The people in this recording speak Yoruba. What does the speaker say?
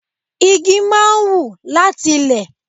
Igi máa ń wù láti ilé.